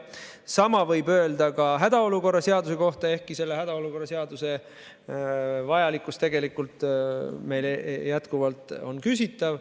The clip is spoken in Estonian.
Sama võib öelda ka hädaolukorra seaduse kohta, ehkki selle hädaolukorra seaduse vajalikkus on meie arvates tegelikult jätkuvalt küsitav.